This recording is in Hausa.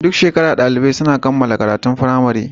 Duk shekara dalibai suna kammala karatun firamare